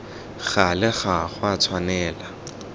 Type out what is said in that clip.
gale ga go a tshwanela